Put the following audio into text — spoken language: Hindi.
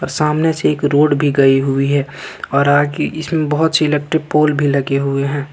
सामने से एक रोड भी गई हुई है और आगे इसमें बहुत सी इलेक्ट्रिक पोल भी लगे हुए हैं।